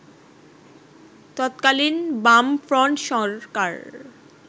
তৎকালীন বামফ্রন্ট সরকার